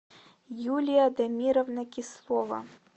юлия дамировна кислова